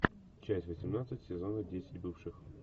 часть восемнадцать сезона десять бывших